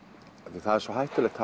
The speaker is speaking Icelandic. því það er svo hættulegt